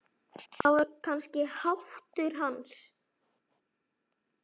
Það var kannski háttur hans.